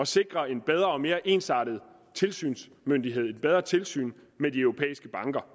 sikre en bedre og mere ensartet tilsynsmyndighed altså et bedre tilsyn med de europæiske banker